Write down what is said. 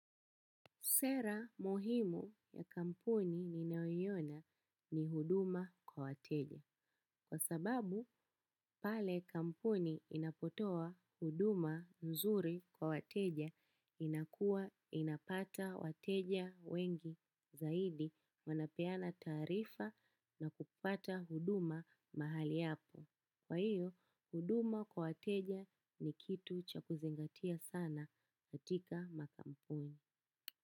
Sera muhimu ya kampuni ninayoina ni huduma kwa wateja. Kwa sababu, pale kampuni inapotoa huduma nzuri kwa wateja inakuwa inapata wateja wengi zaidi wanapeana taarifa na kupata huduma mahali hapo. Kwa hiyo, huduma kwa wateja ni kitu cha kuzingatia sana katika makampuni.